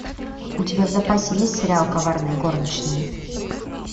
у тебя в запасе есть сериал коварные горничные